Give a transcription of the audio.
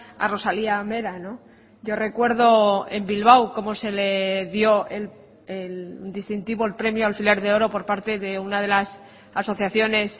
a rosalía mera yo recuerdo en bilbao cómo se le dio el distintivo el premio alfiler de oro por parte de una de las asociaciones